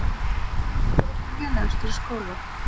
Í hverju varstu lélegastur í skóla?